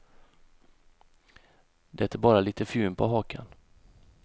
Det är bara lite fjun på hakan.